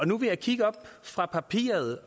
nu vil jeg kigge op fra papiret